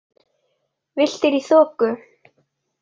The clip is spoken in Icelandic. Villtir í þoku